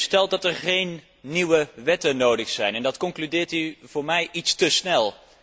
U stelt dat er geen nieuwe wetten nodig zijn, en dat concludeert u voor mij iets te snel.